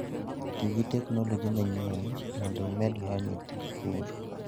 Ti gi teknoloji manyien mondo imed lony e tij pur.